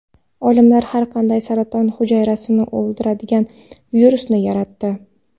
Olimlar har qanday saraton hujayrasini o‘ldiradigan virusni yaratdi.